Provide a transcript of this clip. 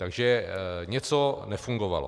Takže něco nefungovalo.